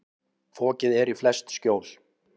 Fokið er í flest skjól.